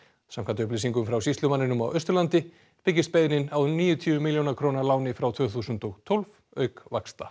samkvæmt upplýsingum frá sýslumanninum á Austurlandi byggist beiðnin á níutíu milljóna króna láni frá tvö þúsund og tólf auk vaxta